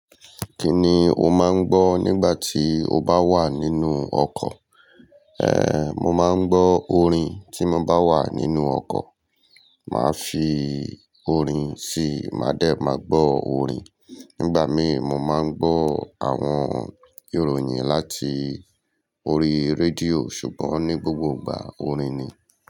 Kí ni o máa ń gbọ́ nígbà tí o bá wà nínú ọkọ̀? Ehn, mo máa ń gbọ́ orin tí mo bá wà nínú ọkọ̀. Máa fi orin sí i, máa dẹ̀ ma gbọ́ orin. Nígbà míì, mo máa ń gbọ́ àwọn ìròyìn láti orí rédíò, ṣùgbọ́n ní gbogbo ìgbà orin ni.